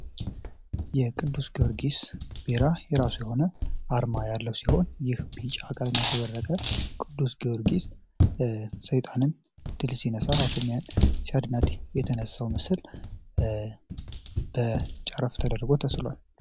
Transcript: የቅዱስ ጊዮርጊስ ቢራ የራሱ የሆነ አርማ ያለው ሲሆን ይህ መሸበረቀ ቅዱስ ጊዮርጊስ ሰይጣንን ሲነሳ የተነሳው ምስል ተደርጎ ተስሏል